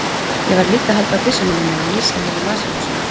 Ég varð líka að halda á byssunni minni og lýsa mér með vasaljósinu.